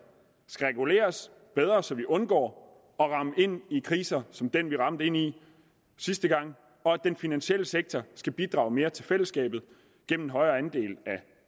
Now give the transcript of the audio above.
skal reguleres bedre så vi undgår at ramme ind i kriser som den vi ramte ind i sidste gang og at den finansielle sektor skal bidrage mere til fællesskabet gennem højere andel af